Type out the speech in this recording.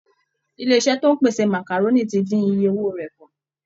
Ilé iṣẹ́ tó ń pèsè màkàrónì ti dín iye owó rẹ̀ kù